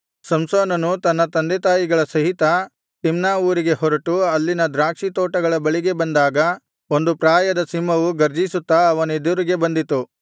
ಸಂಸೋನನು ತನ್ನ ತಂದೆತಾಯಿಗಳ ಸಹಿತ ತಿಮ್ನಾ ಊರಿಗೆ ಹೊರಟು ಅಲ್ಲಿನ ದ್ರಾಕ್ಷಿ ತೋಟಗಳ ಬಳಿಗೆ ಬಂದಾಗ ಒಂದು ಪ್ರಾಯದ ಸಿಂಹವು ಗರ್ಜಿಸುತ್ತಾ ಅವನೆದುರಿಗೆ ಬಂದಿತು